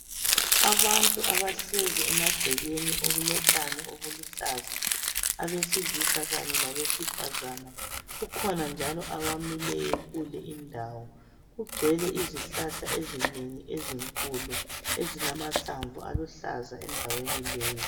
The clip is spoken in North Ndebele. Abantu abahlezi emagcekeni okulotshani obuluhlaza, abesilisa kanye labesifazana kukhona njalo abamileyo kule indawo. Kugcwele izihlahla ezinengi ezinkulu, ezilamahlamvu aluhlaza endaweni leyi.